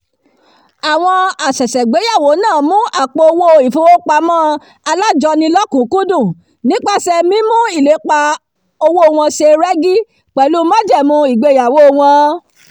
àwọn àsẹ̀sẹ̀gbéyàwó náà mu àpò-owó ìfowópamọ́ alájọni lọ́kùnúnkúndùn nípasẹ̀ mímú ìlépa owó wọn ṣe rẹ́gí pẹ̀lú májẹ̀mú ìgbeyàwó wọn